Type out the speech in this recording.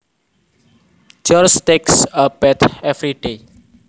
George takes a bath every day